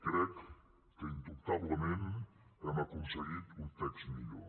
crec que indubtablement hem aconseguit un text millor